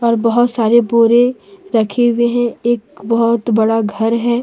और बहोत सारे बोरे रखे हुए हैं एक बहोत बड़ा घर है।